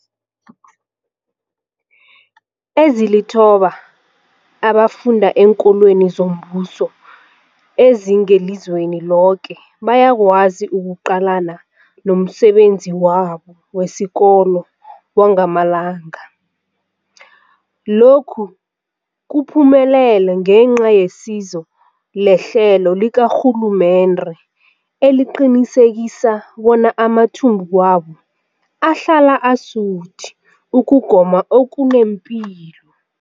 Ezilithoba abafunda eenkolweni zombuso ezingelizweni loke bayakwazi ukuqalana nomsebenzi wabo wesikolo wangamalanga. Lokhu kuphumelele ngenca yesizo lehlelo likarhulumende eliqinisekisa bona amathumbu wabo ahlala asuthi ukugoma okunepilo.